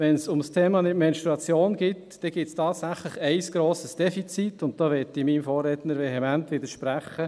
Wenn es um das Thema Menstruation geht, gibt es tatsächlich ein grosses Defizit, und da möchte ich meinem Vorredner vehement widersprechen.